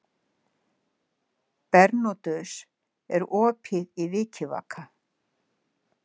Bernódus, er opið í Vikivaka?